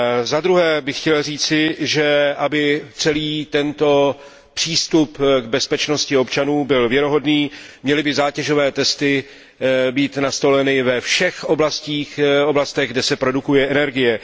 Za druhé bych chtěl říci, že aby celý tento přístup k bezpečnosti občanů byl věrohodný, měly by zátěžové testy být nastoleny ve všech oblastech, kde se produkuje energie.